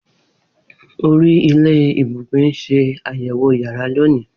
Ori ile ibugbe n ṣe ayẹwo yàrá loni.